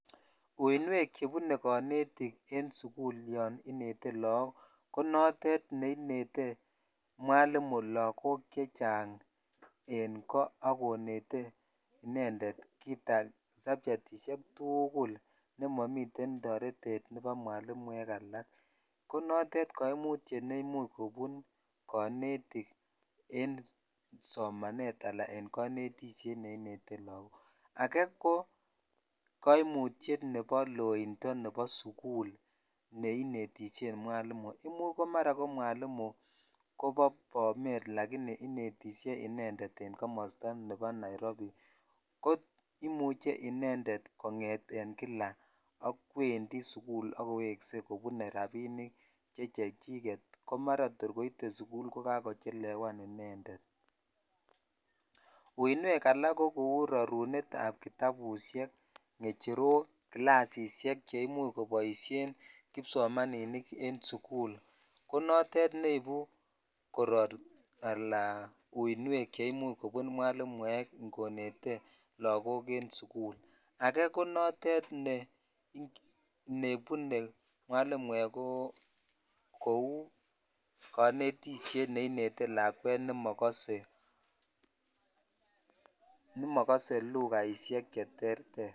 Uinwek chebune konetik en sukul yon inetee lok ko notet ne instead mwalimu lakok chechang en ko ak konete ak konetete inended subchetishek tugul ne momiten toretet nebo mwalinuek alak ko notet kaimutyet ne imuch konetik en somanet ala en konetishet ne inete lakok ake ko koimutyet nebo Laindon nebo dukul neinetishen mwalimu imuch ko mara mwalimu kobo bomet lakini inetishe inended en komosto nebo Nairobi ko imuch konget inended akwendii ak koweshe kobune rabishek che chechechiket komara tor koite sukul ko maraa kolakochelewan inended uinwek alak ko kou rarunet ab kiyabushek ,ngecherok kilasishek che imuch kosomanen kisomaniniken sukul ko notet neibu koror al uinwek che imuch kobun mwalimuek ikonet lakok en sukul ake ko notet ne nebune mwalimuek ko kou konetishet nekinete lskwek ne mokose lujaishek che terter.